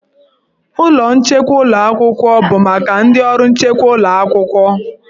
Ụlọ nchekwa ụlọ akwụkwọ bụ maka ndị ọrụ nchekwa ụlọ akwụkwọ.